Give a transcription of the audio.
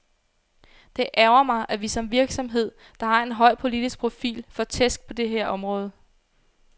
Det ærgrer mig, at vi som en virksomhed, der har en høj politisk profil, får tæsk på det her område.